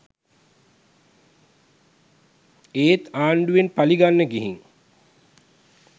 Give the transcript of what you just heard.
ඒත් ආන්ඩුවෙන් පලිගන්න ගිහින් .